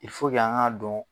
an ŋ'a dɔn